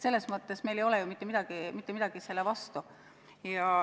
Meil ei ole mitte midagi selle vastu.